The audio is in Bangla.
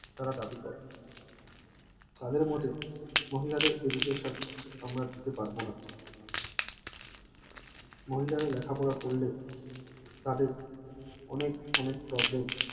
তারা দাবি করে তাদের মহিলাদের education আমরা দিতে পারবো না মহিলারা লেখাপড়া করলে তাদের অনেক অনেক problem